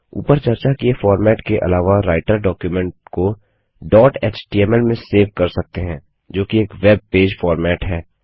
ऊपर चर्चा किए फॉर्मेट के अलावा राइटर डॉक्युमेंट को डॉट एचटीएमएल में सेव कर सकते हैं जोकि एक वेबपेज फॉर्मेट है